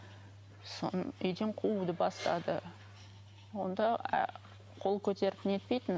үйден қууды бастады онда қол көтеріп нетпейтін